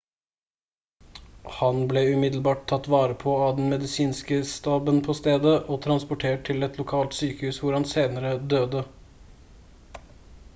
han ble umiddelbart tatt vare på av den medisinske staben på stedet og transportert til et lokalt sykehus hvor han senere døde